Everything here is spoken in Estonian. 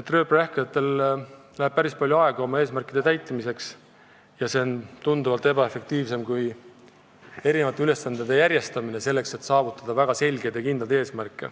et rööprähklejatel läheb väga palju aega oma eesmärkide saavutamiseks ja see on tunduvalt ebaefektiivsem tegevusstiil kui ülesannete järjestamine selleks, et saavutada väga selgeid ja kindlaid eesmärke.